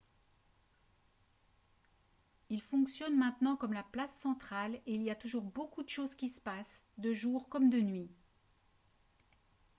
il fonctionne maintenant comme la place centrale et il y a toujours beaucoup de choses qui se passent de jour comme de nuit